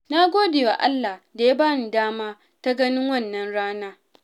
Na gode wa Allah da ya bani dama ta ganin wannan rana.